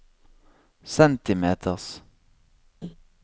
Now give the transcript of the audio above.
centimeters